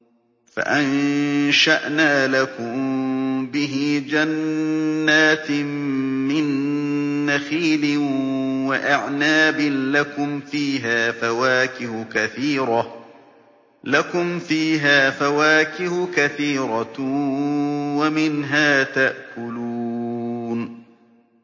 فَأَنشَأْنَا لَكُم بِهِ جَنَّاتٍ مِّن نَّخِيلٍ وَأَعْنَابٍ لَّكُمْ فِيهَا فَوَاكِهُ كَثِيرَةٌ وَمِنْهَا تَأْكُلُونَ